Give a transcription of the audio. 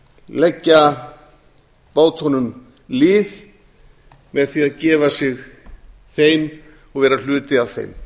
leggja bátunum lið með því að gefa sig þeim og vera hluti af þeim